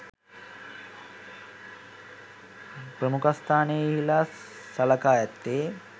ප්‍රමුඛස්ථානයෙහිලා සලකා ඇත්තේ